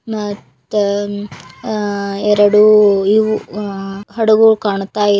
ಮತ್ತೆ ಆ ಆ ಎರಡು ಇವು ಆ ಹಡಗುಗಳು ಕಾಣತ್ತವೆ.